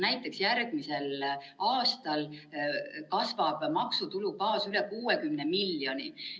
Näiteks järgmisel aastal kasvab maksutulubaas üle 60 miljoni,.